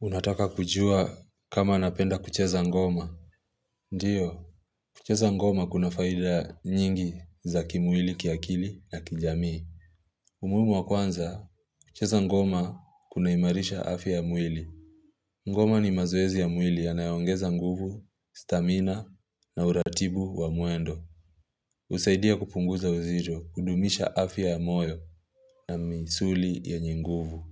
Unataka kujua kama napenda kucheza ngoma. Ndiyo, kucheza ngoma kuna faida nyingi za kimwili, kiakili na kijamii. Umuhimu wa kwanza, kucheza ngoma kunaimarisha afya ya mwili. Ngoma ni mazoezi ya mwili yanayoongeza nguvu, stamina na uratibu wa mwendo. Husaidia kupunguza uzido, kudumisha afya ya moyo na misuli yenye nguvu.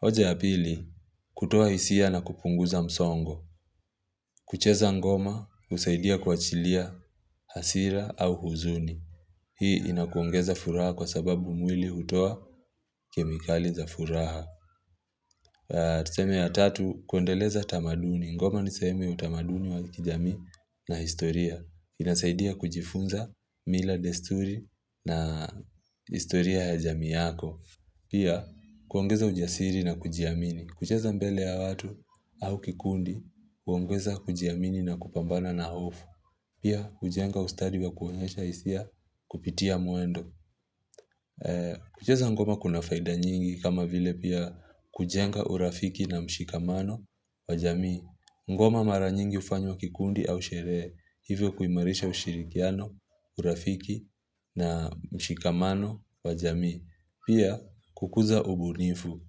Hoja ya pili, kutoa hisia na kupunguza msongo. Kucheza ngoma, husaidia kuachilia hasira au huzuni. Hii inakuongeza furaha kwa sababu mwili hutoa kemikali za furaha. Tuseme ya tatu, kuendeleza tamaduni ngoma nisehemu ya utamaduni wa kijamii na historia. Inasaidia kujifunza mila desturi na historia ya jami yako. Pia, kuongeza ujasiri na kujiamini kucheza mbele ya watu au kikundi kuongeza kujiamini na kupambana na hofu. Pia kujenga ustadi wa kuonyesha hisia kupitia mwendo. Kucheza ngoma kuna faida nyingi kama vile pia kujenga urafiki na mshikamano wajamii. Ngoma mara nyingi hufanywa kikundi au sherehe, hivyo kuimarisha ushirikiano, urafiki na mshikamano wajamii. Pia, kukuza ubunifu.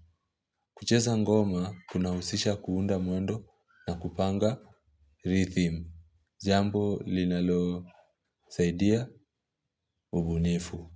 Kucheza ngoma, kuna husisha kuunda mwendo na kupanga rithim. Jambo linalosaidia ubunifu.